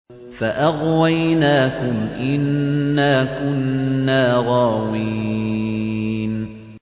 فَأَغْوَيْنَاكُمْ إِنَّا كُنَّا غَاوِينَ